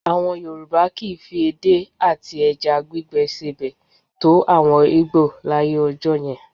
À̀wọn Yorùbá kì í fi ẹdé àti ẹja gbígbẹ sebẹ̀ tó àwọn Ìgbò láyé ọjọ́ yẹn